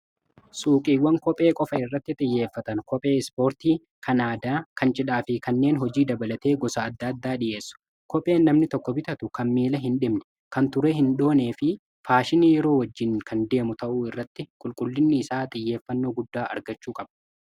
Suuqiiwwan kophee qofa irratti xiyyeeffatan. Kophee ispoortii, kan aadaa, kan cidhaa fi kanneen hojii dabalatee gosa adda addaa dhi'eessu. Kopheen namni tokko bitatu kan miila hin dhibne, kan turee hin dhoonee fi faashinii yeroo wajjiin kan deemu ta'uu irratti qulqullinni isaa xiyyeeffannoo guddaa argachuu qabu.